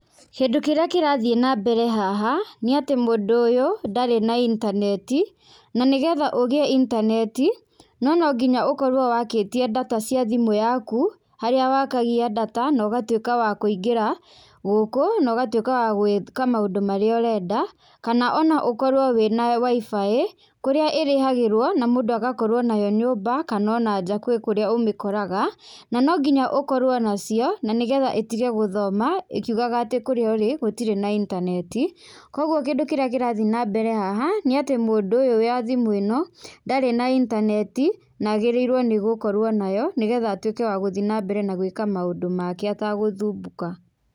Kĩndũ kĩrĩa kĩrathiĩ na mbere haha nĩatĩ mũndũ ũyũ ndarĩ na intaneti na nĩgetha ũgĩe intaneti no nonginya ũkorwo wakĩtie data cia thimũ yaku harĩa wakagia data na ũgatwĩka wa kũingĩra gũkũ na ũgatwĩka wa gwĩka maũndũ marĩa ũrenda kana ona ũkorwo wĩna WI-FI kũrĩa ĩrĩhagĩrwo na mũndũ agakorwo nayo nyũmba kana ona nja kwĩ kũrĩa ũmĩkoraga na nonginya ũkorwo nacio nanĩgetha ĩtige gũthoma ĩkiugaga atĩ kũrĩa ũrĩ gũtirĩ na intaneti koguo kĩndũ kĩrĩa kĩrathiĩ nambere haha nĩatĩ mũndũ ũyũ wa thimũ ĩno ndarĩ na intaneti na agĩrĩirwo nĩ gũkorwo nayo nĩgetha atuĩke wa gũthi nambere na gwĩka maũndũ make atagũthumbũka.